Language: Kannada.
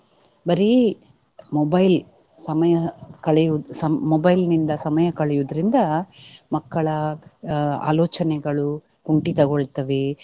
ಬರೀ mobile ಸಮಯ ಕಳೆಯುವುದು ಸಮ್~ mobile ನಿಂದ ಸಮಯ ಕಳೆಯುವುದ್ರಿಂದ ಮಕ್ಕಳ ಅಹ್ ಆಲೋಚನೆಗಳು ಕುಂಟಿತಗೊಳ್ತವೆ.